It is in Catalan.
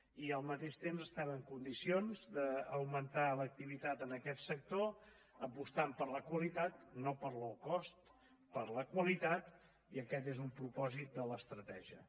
i al mateix temps estem en condicions d’augmentar l’activitat en aquest sector apostant per la qualitat no pel low cost per la qualitat i aquest és un propòsit de l’estratègia